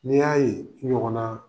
N'i y'a ye i ɲɔgɔnnaa